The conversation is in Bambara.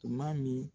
Tuma min